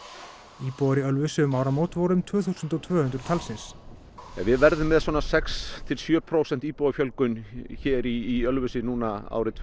íbúar í Ölfusi um áramót voru um tvö þúsund tvö hundruð talsins við verðum með svona sex til sjö prósent íbúafjölgun hér í Ölfusi árið tvö